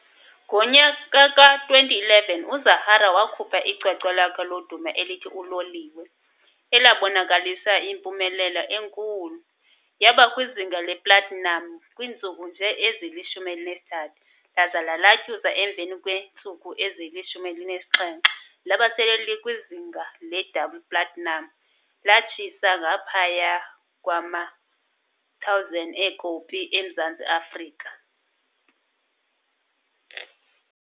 Ngo2011 uZahara wakhupha icwecwe lakhe lodumo elithi "Loliwe", elabonakalisa yimpumelelo enkulu, yaba kwizinga le"platinum" kwiintsuku nje ezili-13 laza lalatyuza emva nje kweentsuku ezili-17 laba sele likwizinha le"double platinum", lathisa ngaphaya kwama100,000 eekopi eMzantsi Afrika.